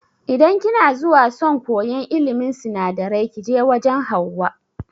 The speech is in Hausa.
Idan kina zuwa son koyan ilimin sinadarai kije wajan Hauwa